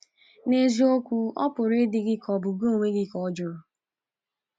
N’eziokwu, ọ pụrụ ịdị gị ka ọ bụ gị onwe gị ka ọ jụrụ.